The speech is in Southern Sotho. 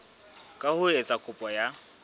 ka ho etsa kopo ya